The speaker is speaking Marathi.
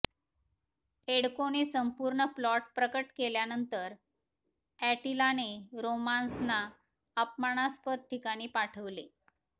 एड्कोने संपूर्ण प्लॉट प्रकट केल्यानंतर अॅटिलाने रोमान्सना अपमानास्पद ठिकाणी पाठविले